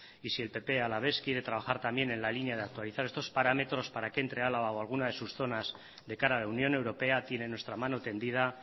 y si el partido popular alavés quiere trabajar también en la línea de actualizar estos parámetros para que entre álava o alguna de sus zonas de cara a la unión europea tiene nuestra mano tendida